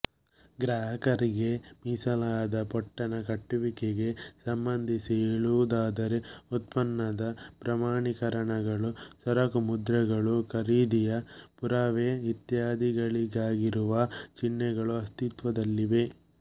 ಗ್ರಾಹಕರಿಗೆ ಮೀಸಲಾದ ಪೊಟ್ಟಣ ಕಟ್ಟುವಿಕೆಗೆ ಸಂಬಂಧಿಸಿ ಹೇಳುವುದಾದರೆ ಉತ್ಪನ್ನದ ಪ್ರಮಾಣೀಕರಣಗಳು ಸರಕುಮುದ್ರೆಗಳು ಖರೀದಿಯ ಪುರಾವೆ ಇತ್ಯಾದಿಗಳಿಗಾಗಿರುವ ಚಿಹ್ನೆಗಳು ಅಸ್ತಿತ್ವದಲ್ಲಿವೆ